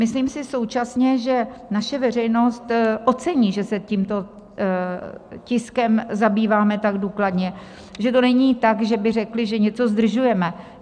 Myslím si současně, že naše veřejnost ocení, že se tímto tiskem zabýváme tak důkladně, že to není tak, že by řekli, že něco zdržujeme.